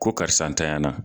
Ko karisa ntanyana